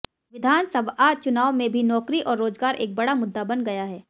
विधानसभआ चुनाव में भी नौकरी और रोजगार एक बड़ा मुद्दा बन गया है